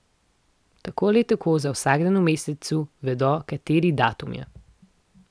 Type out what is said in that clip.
Tako ali tako za vsak dan v mesecu vedo, kateri datum je.